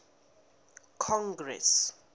congress